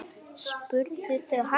spurðu þau hann.